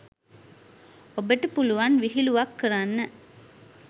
ඔබට පුළුවන් විහිළුවක් කරන්න